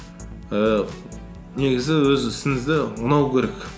ііі негізі өз ісіңізді ұнау керек